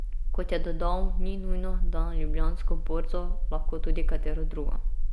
Kot je dodal, ni nujno, da na Ljubljansko borzo, lahko tudi katero drugo.